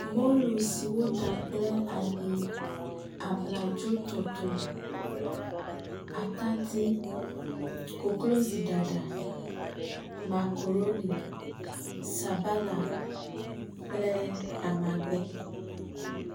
Mɔlu si woɖa kple ayi, abladzotɔtɔe, atadi, koklozoɖaɖa, makaɖoni, sabala kple amagbe.